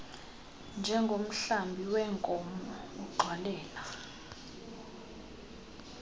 njengomhlambi weenkomo ugxwalela